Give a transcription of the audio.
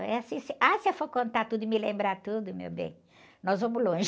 Aí, assim, se, ah, se eu for contar tudo e me lembrar tudo, meu bem, nós vamos longe.